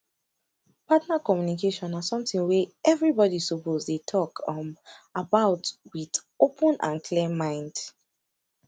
partner communication na something wey everybody suppose dey talk um about with open and clear mind